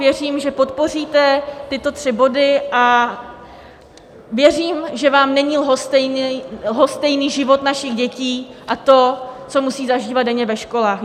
Věřím, že podpoříte tyto tři body, a věřím, že vám není lhostejný život našich dětí a to, co musí zažívat denně ve školách.